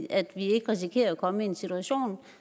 at vi ikke risikerer at komme i en situation